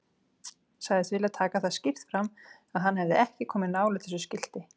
Sagðist vilja taka það skýrt fram að hann hefði ekki komið nálægt þessu skilti.